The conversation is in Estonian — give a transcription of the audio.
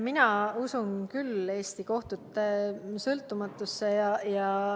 Mina usun küll Eesti kohtute sõltumatusesse.